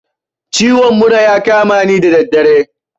Ciwon mura ya kamani da daddare